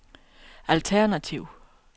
alternativ